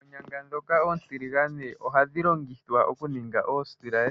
Oonyanga ndhoka oontiligane ohadhi longithwa okuninga oosilaye.